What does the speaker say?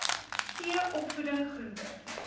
t opvoeding groente